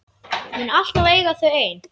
Mun alltaf eiga þau ein.